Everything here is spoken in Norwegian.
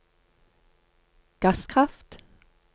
gasskraft